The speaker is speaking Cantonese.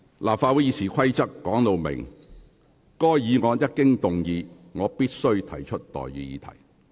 立法會《議事規則》訂明，該議案一經動議，主席隨即須提出待議議題。